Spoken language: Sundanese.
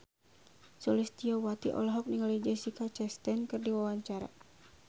Sulistyowati olohok ningali Jessica Chastain keur diwawancara